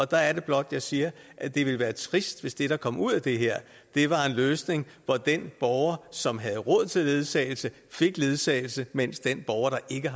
der er det blot jeg siger at det ville være trist hvis det der kom ud af det her var en løsning hvor den borger som havde råd til ledsagelse fik ledsagelse mens den borger der ikke